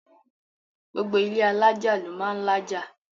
gbogbo ilé alájà ló máà ń lájà